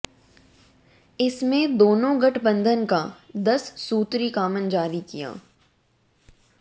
इसमें दोनों गठबंधन का दस सूत्री कॉमन जारी किया